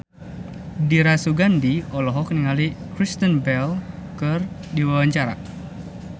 Dira Sugandi olohok ningali Kristen Bell keur diwawancara